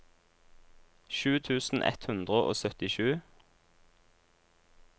sju tusen ett hundre og syttisju